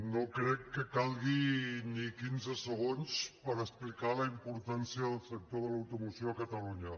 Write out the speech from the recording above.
no crec que calguin ni quinze segons per explicar la importància del sector de l’automoció a catalunya